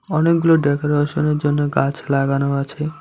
অনেকগুলো ডেকোরেশনের জন্য গাছ লাগানো আছে।